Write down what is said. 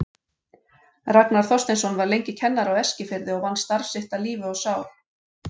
Ragnar Þorsteinsson var lengi kennari á Eskifirði og vann starf sitt af lífi og sál.